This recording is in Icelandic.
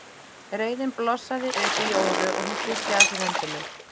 Reiðin blossaði upp í Jóru og hún kippti að sér hendinni.